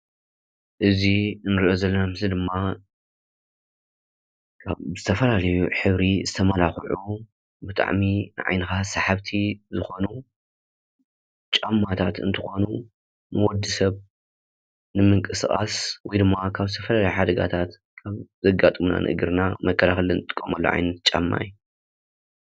እዚ እንሪኦ ዘለና ምስሊ ድማ ብዝተፈላለዩ ሕብሪ ዝተመላክዑ ብጣዕሚ ንዓይንካ ሰሓብቲ ዝኮኑ ጫማታት እንትኾኑ፤ ንወዲሰብ ንምንቅስቃስ ወይ ድማ ካብ ዝተፈላለዩ ሓደጋታት ዘጋጥሙና ንእግርና መከላኸሊ እንጥቀመሉ ዓይነት ጫማ እዩ፡፡